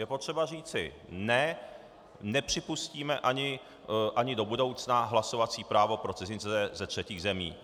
Je potřeba říci ne, nepřipustíme ani do budoucna hlasovací právo pro cizince ze třetích zemí.